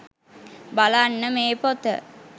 බලන්න මේ පොත